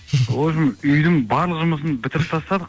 в общем үйдің барлық жұмысын бітіріп тастадық